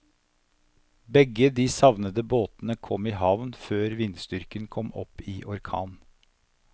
Begge de savnede båtene kom i havn før vindstyrken kom opp i orkan.